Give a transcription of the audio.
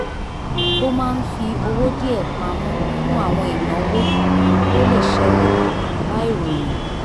ó máa ń fi owó díẹ̀ pamọ́ fún àwọn ìnáwó tó lè ṣẹlẹ̀ láìròyìn